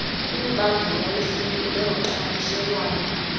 imibandela yesini nezoqhakamshelwano